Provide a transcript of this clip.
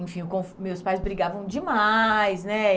Enfim o con, meus pais brigavam demais, né?